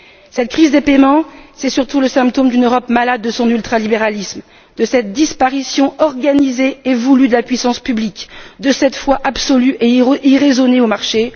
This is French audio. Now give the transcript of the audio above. Cette crise des paiements, c'est surtout le symptôme d'une Europe malade de son ultralibéralisme, de cette disparition organisée et voulue de la puissance publique, de cette foi absolue et irraisonnée dans le marché.